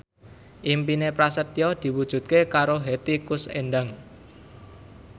impine Prasetyo diwujudke karo Hetty Koes Endang